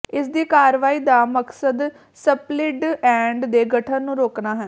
ਇਸਦੀ ਕਾਰਵਾਈ ਦਾ ਮਕਸਦ ਸਪਲਿੱਟ ਐੰਡ ਦੇ ਗਠਨ ਨੂੰ ਰੋਕਣਾ ਹੈ